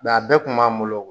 Nka a bɛɛ kun b'an bolo